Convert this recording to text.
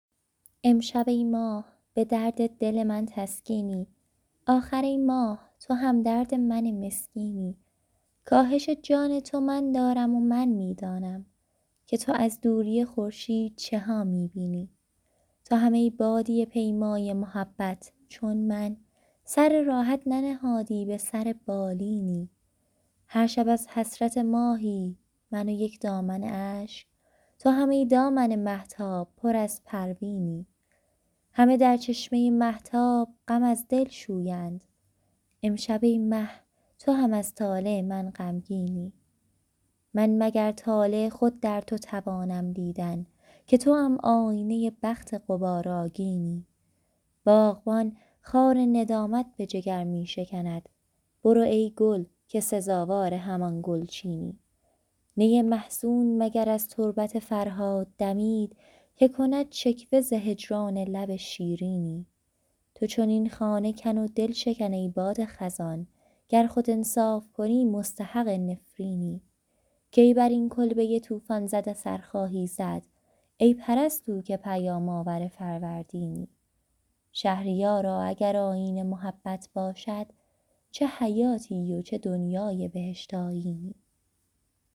امشب ای ماه به درد دل من تسکینی آخر ای ماه تو همدرد من مسکینی کاهش جان تو من دارم و من می دانم که تو از دوری خورشید چه ها می بینی تو هم ای بادیه پیمای محبت چون من سر راحت ننهادی به سر بالینی هر شب از حسرت ماهی من و یک دامن اشک تو هم ای دامن مهتاب پر از پروینی همه در چشمه مهتاب غم از دل شویند امشب ای مه تو هم از طالع من غمگینی من مگر طالع خود در تو توانم دیدن که توام آینه بخت غبارآگینی باغبان خار ندامت به جگر می شکند برو ای گل که سزاوار همان گلچینی نی محزون مگر از تربت فرهاد دمید که کند شکوه ز هجران لب شیرینی تو چنین خانه کن و دلشکن ای باد خزان گر خود انصاف کنی مستحق نفرینی کی بر این کلبه طوفان زده سر خواهی زد ای پرستو که پیام آور فروردینی شهریارا اگر آیین محبت باشد جاودان زی که به دنیای بهشت آیینی